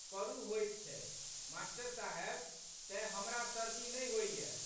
करू होइत छै मा.साहेब। तेँ, हमरा सर्दी नहि होइये।